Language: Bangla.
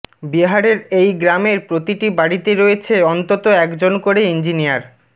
বিহারের এই গ্রামের প্রতিটি বাড়িতে রয়েছে অন্তত একজন করে ইঞ্জিনিয়ার